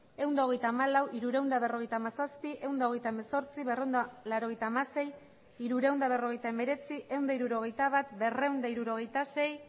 ehun eta hogeita hamalau hirurehun eta berrogeita hamazazpi ehun eta hogeita hemezortzi berrehun eta laurogeita hamasei hirurehun eta berrogeita hemeretzi ehun eta hirurogeita bat berrehun eta hirurogeita sei